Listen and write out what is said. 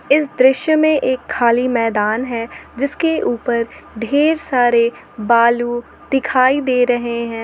इस दृश्य में एक खाली मैदान है जिसके ऊपर ढेर सारे बालू दिखाई दे रहे हैं।